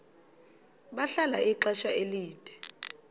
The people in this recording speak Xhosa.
bahlala ixesha elide